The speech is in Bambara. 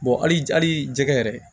hali jɛgɛ yɛrɛ